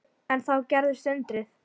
En þá gerðist undrið.